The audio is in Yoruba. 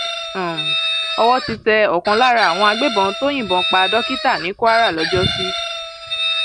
um owó ti tẹ ọkan lára àwọn agbébọn tó um yìnbọn pa dókítà ní kwara lọjọsí